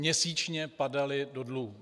Měsíčně padaly do dluhů.